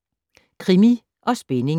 Krimi & spænding